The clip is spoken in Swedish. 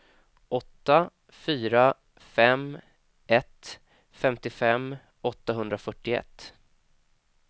åtta fyra fem ett femtiofem åttahundrafyrtioett